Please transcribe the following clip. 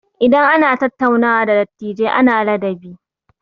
Idan ana tattaunawa da dattijai ana ladabi.